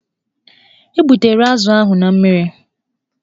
E gbutere azụ ahụ na mmiri.